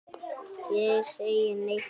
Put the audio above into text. Ég segi nei, takk.